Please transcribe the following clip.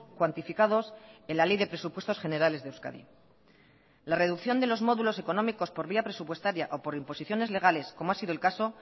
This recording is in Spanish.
cuantificados en la ley de presupuestos generales de euskadi la reducción de los módulos económicos por vía presupuestaria o por imposiciones legales como ha sido el caso